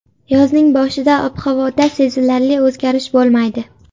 Yozning boshida ob-havoda sezilarli o‘zgarish bo‘lmaydi.